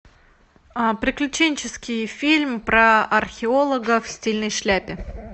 приключенческий фильм про археолога в стильной шляпе